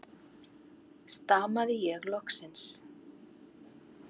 stamaði ég loksins.